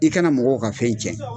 I kana mɔgɔw ka fɛn tiɲɛ